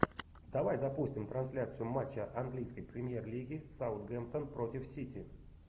давай запустим трансляцию матча английской премьер лиги саутгемптон против сити